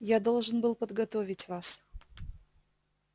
я должен был подготовить вас